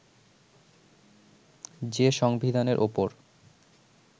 যে সংবিধানের ওপর